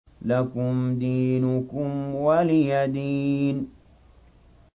لَكُمْ دِينُكُمْ وَلِيَ دِينِ